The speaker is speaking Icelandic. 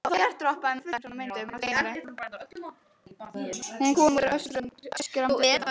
Hún kom út eftir örskamma stund.